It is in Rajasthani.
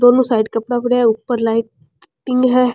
दोनों साइड कपडा पड़े है ऊपर लाइटीग है।